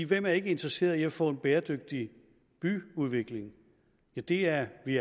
hvem er ikke interesseret i at få en bæredygtig byudvikling det er vi